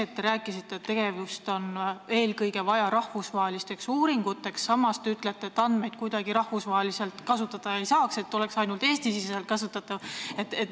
Te rääkisite, et seda on eelkõige vaja rahvusvahelisteks uuringuteks, samas ütlesite, et andmeid rahvusvaheliselt kasutada ei saaks, et need oleksid ainult Eestis kasutatavad.